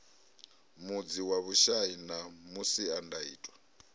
mudzi wa vhushai na masiandaitwa